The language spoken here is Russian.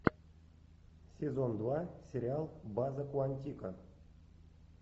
сезон два сериал база куантико